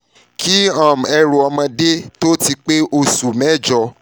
kí um ni ẹrù um ọmọdé tó ti pé oṣù mẹ́jo